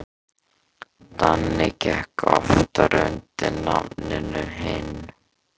Danni gekk oftar undir nafninu Hinn.